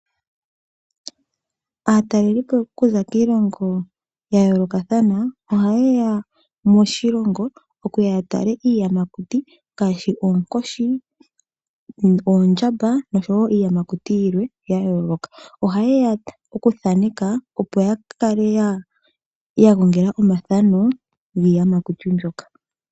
Aatalelipo okuza kiilongo yayoolokathana oha yeya moshilongo ya tale iiyamakuti ngaashi oonkoshi, oondjamba noshowo iiyamakuti yilwe yayooloka. Oha yeya okuthaneka opo yakale yagongela omathano giiyamakuti mbyoka.